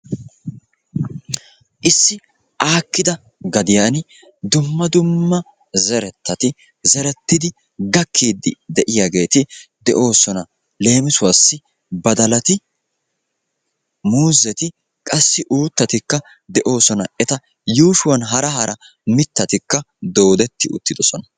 Issi aakkida gadiyaan dumma duma zerettati zerettidi gakkidi de'iyaageti de'oosona. leemissuwaassi badalati muuzzeti qassi uuttatikka de'oosona. eta yuushshuwaan hara hara mittatikka doodetti uttidosona.